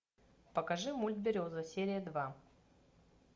покажи мульт береза серия два